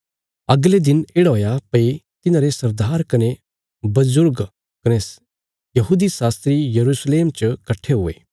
अगले दिन येढ़ा हुआ भई तिन्हांरे सरदार कने बजुर्ग कने शास्त्री यरूशलेम च कट्ठे हुये